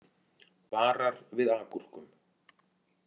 Varar við agúrkum